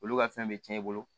Olu ka fɛn be tiɲɛ i bolo